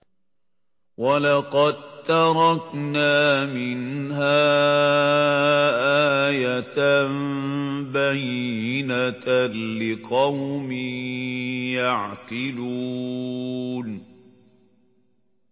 وَلَقَد تَّرَكْنَا مِنْهَا آيَةً بَيِّنَةً لِّقَوْمٍ يَعْقِلُونَ